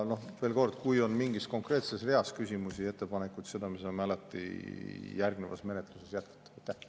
Veel kord: kui on mingi konkreetse rea kohta küsimusi ja ettepanekuid, siis me saame alati järgnevas menetluses seda arutelu jätkata.